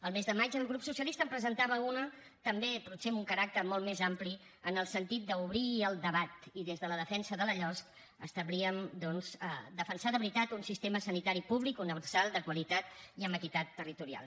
al mes de maig el grup socialista en presentava una també potser amb un caràcter molt més ampli en el sentit d’obrir el debat i des de la defensa de la losc establíem doncs defensar de veritat un sistema sanitari públic universal de qualitat i amb equitat territorial